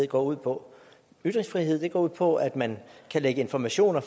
går ud på ytringsfrihed går ud på at man kan lægge informationer